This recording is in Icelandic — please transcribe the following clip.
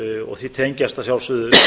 og því tengist að sjálfsögðu